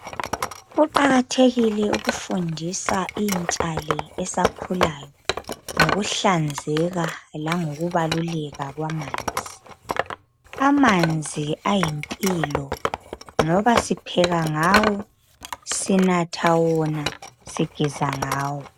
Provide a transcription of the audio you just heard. Kuqakathekile ukufundisa intsha le esakhulayo ngokuhlanzeka langokubaluleka kwamanzi. Amanzi ayimpilo ngoba sipheka ngawo, sinatha wona, sigeza ngawo